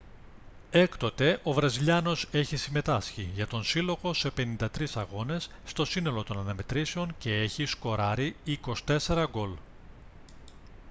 έκτοτε ο βραζιλιάνος έχει συμμετάσχει για τον σύλλογο σε 53 αγώνες στο σύνολο των αναμετρήσεων και έχει σκοράρει 24 γκολ